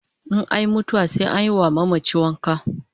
In anyi mutuwa sai anyi wa mamachi wanka